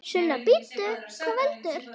Sunna: Bíddu, hvað veldur?